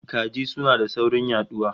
Kaji suna da saurin yaduwa